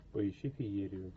поищи феерию